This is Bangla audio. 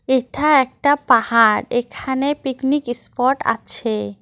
এটা একটা পাহাড় এখানে পিকনিক ইস্পট আছে।